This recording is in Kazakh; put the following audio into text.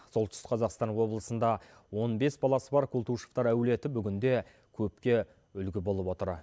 солтүстік қазақстан облысында он бес баласы бар култышевтар әулеті бүгінде көпке үлгі болып отыр